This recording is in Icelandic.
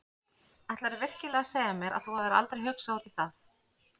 Ætlarðu virkilega að segja mér að þú hafir aldrei hugsað út í það?